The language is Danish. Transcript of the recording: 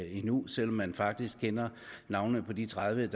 endnu selv om man faktisk kender navnene på de tredive